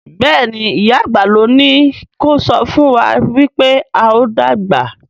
Béèni ìyá àgbà ló ní kò sọfún wá wípé ào dàgbà.